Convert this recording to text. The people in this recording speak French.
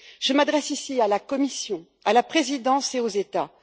Je m'adresse ici à la Commission, à la Présidence et aux États.